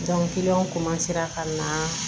ka na